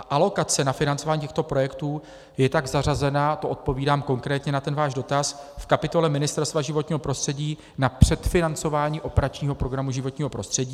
A alokace na financování těchto projektů je tak zařazená - to odpovídám konkrétně na ten váš dotaz - v kapitole Ministerstva životního prostředí na předfinancování operačního programu Životní prostředí.